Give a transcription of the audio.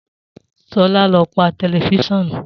Sola lọ pà tẹlifusiọnu.